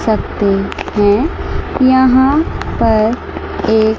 सत्ते हैं यहां पर एक--